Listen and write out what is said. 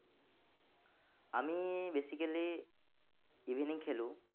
আমি basically evening খেলো।